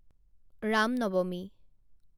ৰাম নৱমী